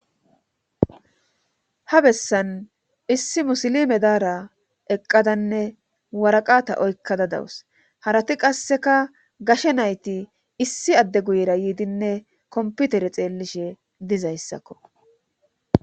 ha bessan issi musilime daara eqqadanne waraqata oykkada dawus harati qasseka gashe nayti issi adde guyera yiidinne komputere xeellishe dizayssakko